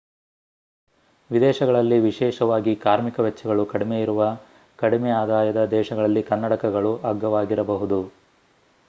ವಿದೇಶಗಳಲ್ಲಿ ವಿಶೇಷವಾಗಿ ಕಾರ್ಮಿಕ ವೆಚ್ಚಗಳು ಕಡಿಮೆ ಇರುವ ಕಡಿಮೆ-ಆದಾಯದ ದೇಶಗಳಲ್ಲಿ ಕನ್ನಡಕಗಳು ಅಗ್ಗವಾಗಿರಬಹುದು